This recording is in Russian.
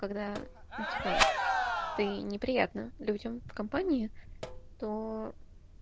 когда ну типо ты неприятна людям в компании то